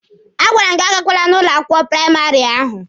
A gwara m gị agakwala ụlọ akwụkwọ praịmarị ahụ!